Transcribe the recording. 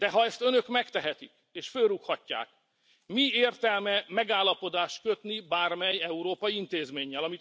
De ha ezt Önök megtehetik, és fölrúghatják, mi értelme megállapodást kötni bármely európai intézménnyel?